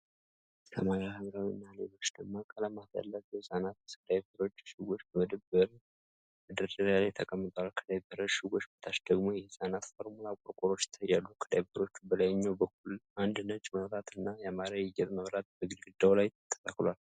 ሰማያዊ፣ ሐምራዊ እና ሌሎች ደማቅ ቀለማት ያላቸው የህፃናት ዳይፐር እሽጎች በመደብሩ መደርደሪያ ላይ ተቀምጠዋል። ከዳይፐር እሽጎች በታች ደግሞ የሕፃናት ፎርሙላ ቆርቆሮዎች ይታያሉ። ከዳይፐሮቹ በላይኛው በኩል አንድ ነጭ መብራት እና ያማረ የጌጥ መብራት በግድግዳው ላይ ተተክሏል።